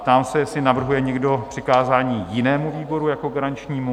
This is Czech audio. Ptám se, jestli navrhuje někdo přikázání jinému výboru jako garančnímu?